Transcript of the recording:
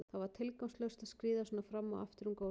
Það var tilgangslaust að skríða svona fram og aftur um gólfið.